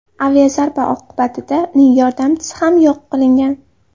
Aviazarba oqibatida uning yordamchisi ham yo‘q qilingan.